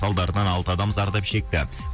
салдарынан алты адам зардап шекті